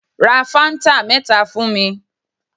Ra fáńtà mẹ́ta fún mi.